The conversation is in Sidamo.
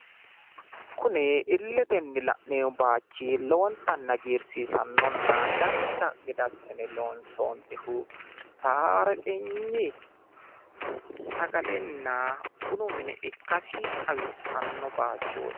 Kunni illetenni la'neemmo baayichi lowontanni hagiirsiissannona dancha gede assine loonsonnihu Tarekegn sagalenna bunu mine ikkasi xawisanno bayichooti.